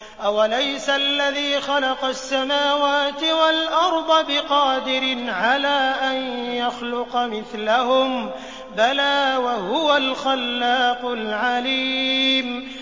أَوَلَيْسَ الَّذِي خَلَقَ السَّمَاوَاتِ وَالْأَرْضَ بِقَادِرٍ عَلَىٰ أَن يَخْلُقَ مِثْلَهُم ۚ بَلَىٰ وَهُوَ الْخَلَّاقُ الْعَلِيمُ